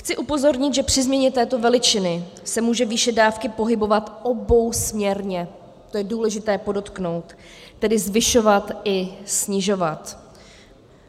Chci upozornit, že při změně této veličiny se může výše dávky pohybovat obousměrně, to je důležité podotknout - tedy zvyšovat i snižovat.